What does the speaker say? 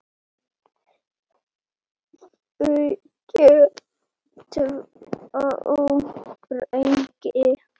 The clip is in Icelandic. Þau eiga tvo drengi